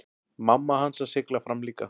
Mamma hans að sigla fram líka.